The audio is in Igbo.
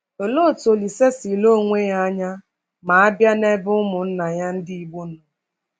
Olee otú Olise si lee onwe ya anya ma a bịa n’ebe ụmụnna ya ndị Igbo nọ?